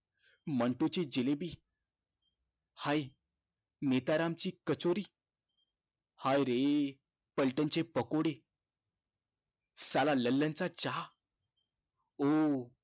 मंटू ची जिलेबी, हाय नेताराम ची कचोरी, हाय रे पलटण चे पकोडे, साला ललन चा चहा ओ